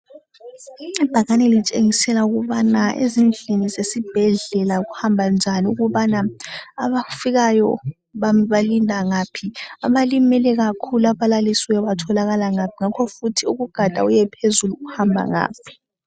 Ibhakane litshengisa ukuba ezindlini zesibhedlela kuhamba njani, ukuba abafikayo balinda ngaphi, abalimele kakhulu, abalalisiweyo batholakala ngaphi lanxa ugada usiya phezulu uhamba ngaphi.